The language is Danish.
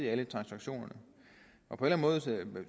alle transaktionerne jeg